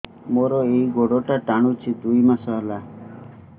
ମୋର ଏଇ ଗୋଡ଼ଟା ଟାଣୁଛି ଦୁଇ ମାସ ହେଲା